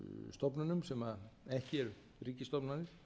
stofnunum sem ekki eru ríkisstofnanir